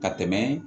Ka tɛmɛ